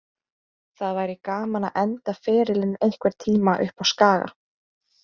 Það væri gaman að enda ferilinn einhvern tíma uppá Skaga.